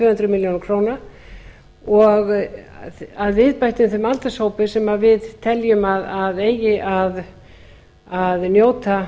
hundruð milljóna króna að viðbættum þeim aldurshópi sem við teljum að eigi að njóta